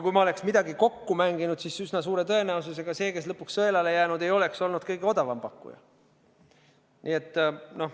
Kui ma oleksin kellegagi kokku mänginud, siis üsna suure tõenäosusega see, kes lõpuks sõelale oleks jäänud, ei oleks olnud kõige odavam pakkuja.